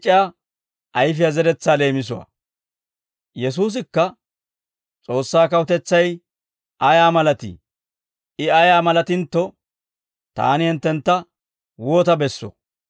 Yesuusikka, «S'oossaa kawutetsay ayaa malatii? I ayaa malatintto, taani hinttentta woota bessoo?